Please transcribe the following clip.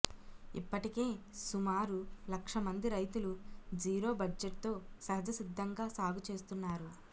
ఇప్పటికే సుమారు లక్ష మంది రైతులు జీరో బడ్జెట్తో సహజసిద్ధంగా సాగు చేస్తున్నారు